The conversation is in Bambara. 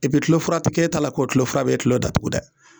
Epi tulofura ti k'e t'a la k'o tulofura b'e tulo datugu dɛ